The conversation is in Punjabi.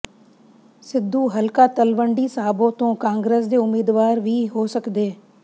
ਸਿੱਧੂ ਹਲਕਾ ਤਲਵੰਡੀ ਸਾਬੋ ਤੋਂ ਕਾਂਗਰਸ ਦੇ ਉਮੀਦਵਾਰ ਵੀ ਹੋ ਸਕਦੇ